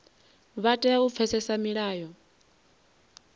vha tea u pfesesa milayo